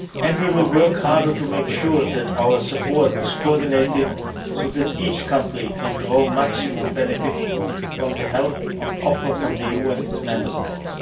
We will work harder to make sure that our support is coordinated so that each country can draw maximum benefit from the help on offer from the EU and its Member